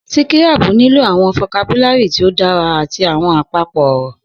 Sikirabu nilo awọn fokabulari ti o dara ati awọn apapo ọrọ